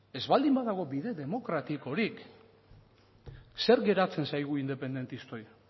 ez baldin badago bide demokratikorik zer geratzen zaigu independentistei